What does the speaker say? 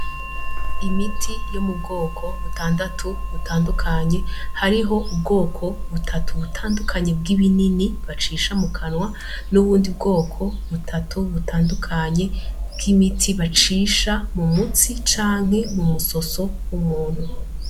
Imiti yo mu bwoko butandatu butandukanye hariho ubwoko butatu butandukanye bw'ibinini bacisha mu kanwa n'uwundi bwoko butatu butandukanye bw'imiti bacisha mu mutsi canke mu musoso w'umuntu.